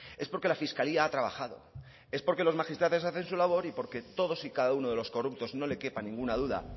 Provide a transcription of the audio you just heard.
es porque la fiscalía ha trabajado es porque los magistrados hacen su labor y porque todos y cada uno de los corruptos no le quepa ninguna duda